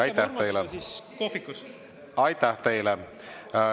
Aitäh teile!